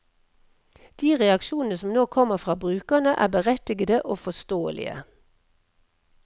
De reaksjonene som nå kommer fra brukerne, er berettigede og forståelige.